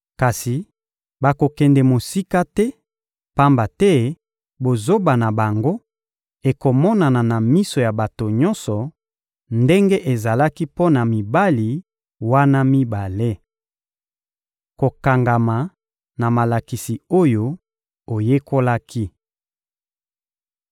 Kasi bakokende mosika te, pamba te bozoba na bango ekomonana na miso ya bato nyonso, ndenge ezalaki mpo na mibali wana mibale. Kokangama na malakisi oyo oyekolaki